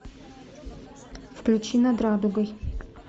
включи над радугой